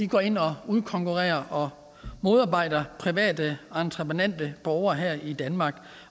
går ind og udkonkurrerer og modarbejder private entreprenante borgere her i danmark